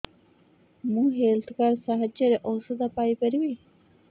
ମୁଁ health card ସାହାଯ୍ୟରେ ଔଷଧ ପାଇ ପାରିବି